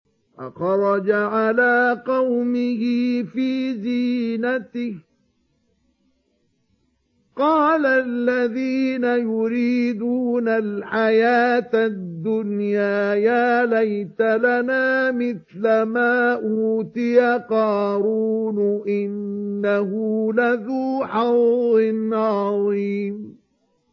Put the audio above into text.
فَخَرَجَ عَلَىٰ قَوْمِهِ فِي زِينَتِهِ ۖ قَالَ الَّذِينَ يُرِيدُونَ الْحَيَاةَ الدُّنْيَا يَا لَيْتَ لَنَا مِثْلَ مَا أُوتِيَ قَارُونُ إِنَّهُ لَذُو حَظٍّ عَظِيمٍ